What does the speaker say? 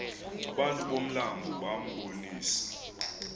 abantu bomlambo bambonisa